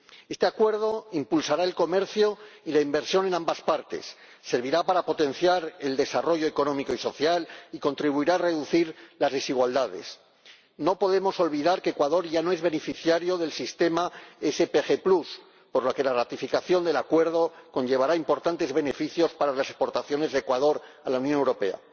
Este Acuerdo impulsará el comercio y la inversión en ambas partes, servirá para potenciar el desarrollo económico y social y contribuirá a reducir las desigualdades. No podemos olvidar que Ecuador ya no es beneficiario del sistema SPG por lo que la ratificación del Acuerdo conllevará importantes beneficios para las exportaciones de Ecuador a la Unión Europea.